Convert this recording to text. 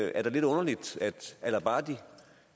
er da lidt underligt